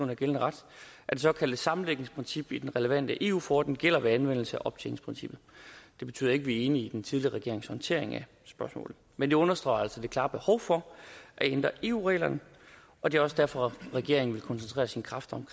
af gældende ret at det såkaldte sammenlægningsprincip i den relevante eu forordning gælder ved anvendelse af optjeningsprincippet det betyder ikke at vi er enige i den tidligere regerings håndtering af spørgsmålet men det understreger altså det klare behov for at ændre eu reglerne og det er også derfor at regeringen vil koncentrere sine kræfter